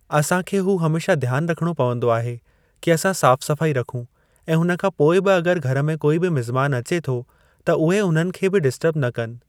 असांखे हू हमेशा ध्यान रखणो पवंदो आहे कि असां साफ़ सफ़ाई रखूं ऐं हुन खां पोइ बि अॻरि घर में कोई बि मिज़मानु अचे थो त उहे हुननि खे डिस्टर्ब न कनि।